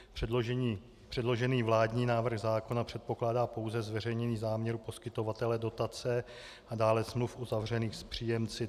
Předložený vládní návrh zákona předpokládá pouze zveřejnění záměru poskytovatele dotace a dále smluv uzavřených s příjemci.